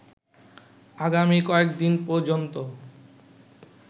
আগামী কয়েকদিন পর্যন্ত